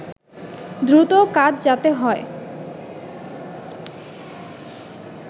দ্রুত কাজ যাতে হয়